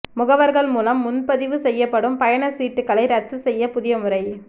முகவா்கள் மூலம் முன்பதிவு செய்யப்படும் பயணச்சீட்டுகளை ரத்து செய்ய புதிய முறை